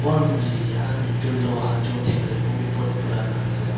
और मुझे यहां में जो लोहा जो दिख रहे ओ भी बहोत पुराना नजर आ--